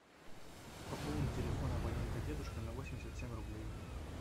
пополни телефон абонента дедушка на восемьдесят семь рублей